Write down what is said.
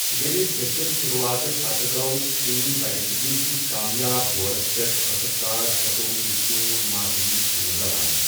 ییٚمہِ پھیٚشَل شُروٗعاتہٕ پتہٕ، گوٚو ٹیٖم برصٔغیٖر کِس کامیاب دورس پٮ۪ٹھ ٲخٕرکار ستووہہ جوٗن مارسیلٕز کن رَوانہٕ۔